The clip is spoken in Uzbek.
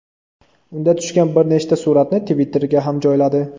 Unda tushgan bir nechta suratni Twitter’ga ham joyladi.